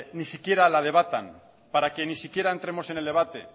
ni siquiera la debatan para que ni siquiera entremos en el debate